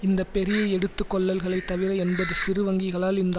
இந்த பெரிய எடுத்து கொள்ளல்களை தவிர எண்பது சிறு வங்கிகளால் இந்த